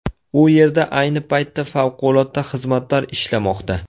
U yerda ayni paytda favqulodda xizmatlar ishlamoqda.